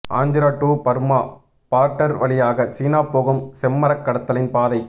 Andhra to Burma border வழியாக சீனா போகும் செம்மரக் கடத்தலின் பாதை